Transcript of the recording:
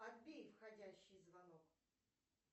отбей входящий звонок